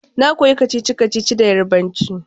Na koya kacici-kacici da Yarbanci